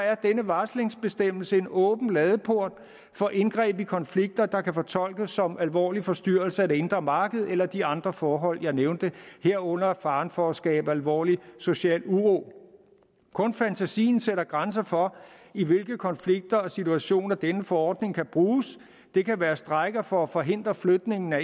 er denne varslingsbestemmelse en åben ladeport for indgreb i konflikter der kan fortolkes som alvorlige forstyrrelser af det indre marked eller de andre forhold jeg nævnte herunder faren for at skabe alvorlig social uro kun fantasien sætter grænser for i hvilke konflikter og situationer denne forordning kan bruges det kan være strejker for at forhindre flytning af